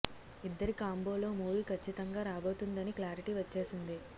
ఇద్దరి కాంబోలో మూవీ ఖచ్చితంగా రాబోతుంది అని క్లారిటీ వచ్చేసింది